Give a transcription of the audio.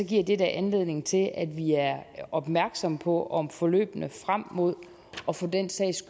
giver det da anledning til at vi er opmærksom på om forløbene frem mod og for den sags